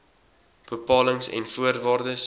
bepalings en voorwaardes